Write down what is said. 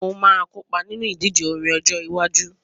Mo máa kópa nínú ìdíje orin ọjọ iwájú